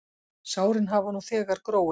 Sárin hafa nú þegar gróið.